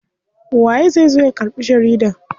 Waye zai zo ya karɓi jarida?